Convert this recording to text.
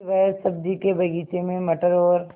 फिर वह सब्ज़ी के बगीचे में मटर और